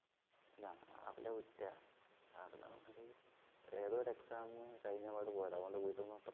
രാവിലെ വിട്ടതാ രാവിലെന്ന് പറഞ്ഞാല് ഏതോ ഒരു exam കഴിഞ്ഞ പാടെ പോയതാ അതുകൊണ്ട് വീട്ടീന്ന്